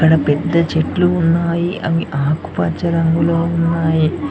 అక్కడ పెద్ద చెట్లు ఉన్నాయి అవి ఆకుపచ్చ రంగులొ ఉన్నాయి.